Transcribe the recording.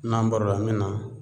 N'an bɔra n bɛ na